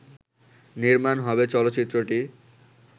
নির্মাণ হবে চলচ্চিত্রটি